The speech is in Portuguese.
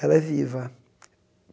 Ela é viva.